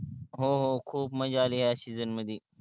हो हो खूप मजा आली या season मधी.